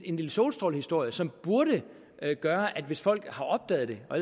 en lille solstrålehistorie som burde gøre at hvis folk har opdaget det og